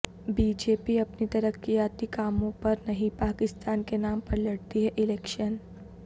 be J P اپنی ترقیاتی کاموں پر نہیں پاکستان کے نام پر لڑتی ہےالیکشن